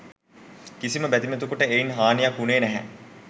කිසිම බැතිමතෙකුට එයින් හානියක් වුණේ නැහැ.